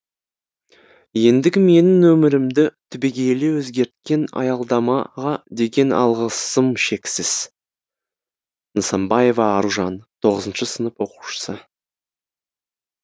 ендігі менің өмірімді түбегейлі өзгерткен аялдамаға деген алғысым шексіз нысанбаева аружан тоғызыншы сынып оқушысы